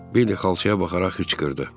Bill xalçaya baxaraq xıqqırdı.